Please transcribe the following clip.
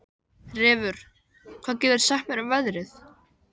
Refur, hvað geturðu sagt mér um veðrið?